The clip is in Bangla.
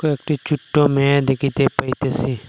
একটি চুট্টো মেয়ে দেকিতে পাইতেসি।